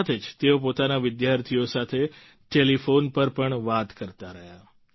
સાથે જ તેઓ પોતાના વિદ્યાર્થીઓ સાથે ટેલિફોન પર પણ વાત કરતા રહ્યા